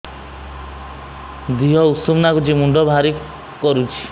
ଦିହ ଉଷୁମ ନାଗୁଚି ମୁଣ୍ଡ ଭାରି କରୁଚି